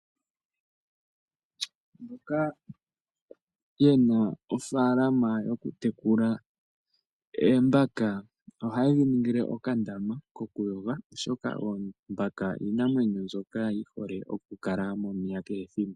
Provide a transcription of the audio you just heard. Mboka ye na ofaalama yokutekula oombaka ohaye dhi ningile okandama kokuyoga, oshoka oombaka odho iinamwenyo mbyoka yi hole okukala momeya kehe ethimbo.